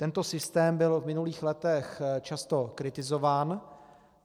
Tento systém byl v minulých letech často kritizován.